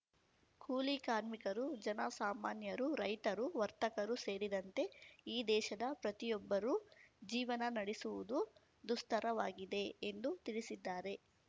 ಕೂಲಿ ಕಾರ್ಮಿಕರು ಜನ ಸಾಮಾನ್ಯರು ರೈತರು ವರ್ತಕರು ಸೇರಿದಂತೆ ಈ ದೇಶದ ಪ್ರತಿಯೊಬ್ಬರೂ ಜೀವನ ನಡೆಸುವುದು ದುಸ್ತರವಾಗಿದೆ ಎಂದು ತಿಳಿಸಿದ್ದಾರೆ